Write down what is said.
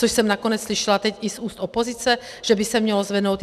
Což jsem nakonec slyšela teď i z úst opozice, že by se mělo zvednout.